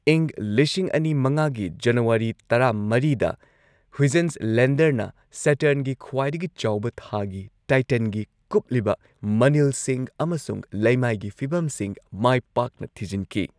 ꯏꯪ ꯂꯤꯁꯤꯡ ꯑꯅꯤ ꯃꯉꯥꯒꯤ ꯖꯅꯨꯋꯥꯔꯤ ꯇꯔꯥ ꯃꯔꯤꯗ ꯍꯨꯏꯖꯦꯟꯁ ꯂꯦꯟꯗꯔꯅ ꯁꯦꯇꯔꯟꯒꯤ ꯈ꯭꯭ꯋꯥꯏꯗꯒꯤ ꯆꯥꯎꯕ ꯊꯥꯒꯤ ꯇꯥꯏꯇꯟꯒꯤ ꯀꯨꯞꯂꯤꯕ ꯃꯅꯤꯜꯁꯤꯡ ꯑꯃꯁꯨꯡ ꯂꯩꯃꯥꯏꯒꯤ ꯐꯤꯚꯝꯁꯤꯡ ꯃꯥꯏ ꯄꯥꯛꯅ ꯊꯤꯖꯤꯟꯈꯤ꯫